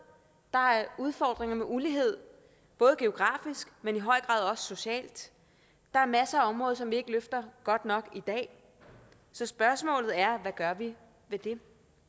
der er udfordringer med ulighed både geografisk men i høj grad også socialt der er masser af områder som vi ikke løfter godt nok i dag så spørgsmålet er hvad gør vi ved det